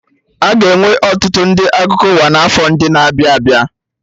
Aga enwe ọtụtụ ndị akụkọ ụwa na afọ ndị na-abịa abịa